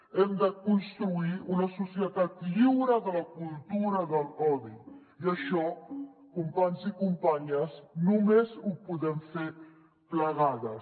hem de construir una societat lliure de la cultura de l’odi i això companys i companyes només ho podem fer plegades